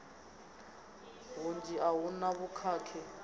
hunzhi a hu na vhukhakhi